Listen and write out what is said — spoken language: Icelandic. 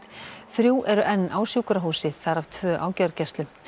þrjú eru enn á sjúkrahúsi þar af tvö á gjörgæslu